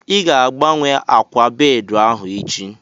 Ị ga-agbanwe ákwà bedị ahu echi